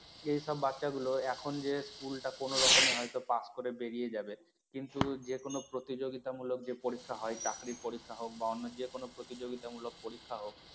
এইসব বাচ্চাগুলো এখন যে school টা কোনরকমে হয়তো pass করে বেরিয়ে যাবে কিন্তু যে কোন প্রতিযোগিতামূলক যে পরীক্ষা হয় চাকরি পরীক্ষা হোক বা অন্য যে কোন প্রতিযোগিতামূলক পরীক্ষা হোক